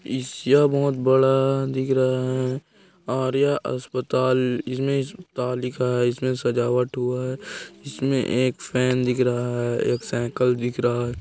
इस यह बहोत बड़ा दिख रहा है और यह अस्पताल इसमें अस्पताल लिखा है इसमें सजावट हुआ है इसमें एक फैन दिख रहा है एक साइकिल दिख रहा है।